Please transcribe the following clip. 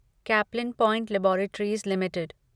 Caplin point laboratories limited